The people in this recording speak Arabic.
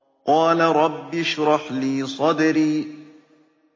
قَالَ رَبِّ اشْرَحْ لِي صَدْرِي